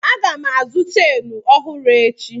Aga m azụ cheenụ ọhụrụ echi.